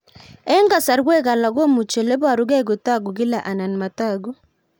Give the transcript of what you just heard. Eng'kasarwek alak komuchi ole parukei kotag'u kila anan matag'u